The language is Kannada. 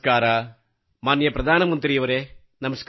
ಗೌರವಾದರಣೀಯ ಪ್ರಧಾನಮಂತ್ರಿಯವರೇ ನಮಸ್ಕಾರ